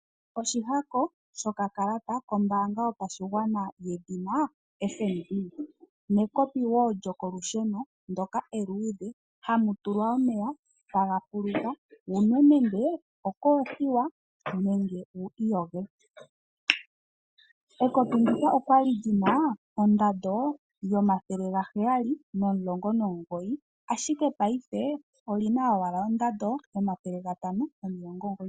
Oshihako shokakalata kombaanga yopashigwana yedhina FNB nekopi wo lyokolusheno ndyoka eluudhe hamu tulwa omeya, e taga fuluka wu nwe nenge okoothiwa nenge wi iyoge. Ekopi ndika olya li li na ondando yoodola omathele gaheyali nomulongo nomugoyi, ashike paife oli na ondando yoodola omathele gatano nomilongo omugooyi nomugoyi.